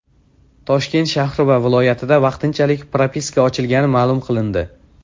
Toshkent shahri va viloyatida vaqtinchalik propiska ochilgani ma’lum qilindi .